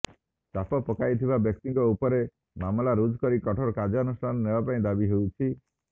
ଚାପ ପକାଇଥିବା ବ୍ୟକ୍ତିଙ୍କ ଉପରେ ମାମଲା ରୁଜୁ କରି କଠୋର କାର୍ଯ୍ୟାନୁଷ୍ଠାନ ନେବା ପାଇଁ ଦାବି ହେଉଛି